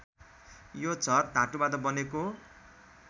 यो झर् धातुबाट बनेको